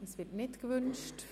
– Es wird nicht gewünscht.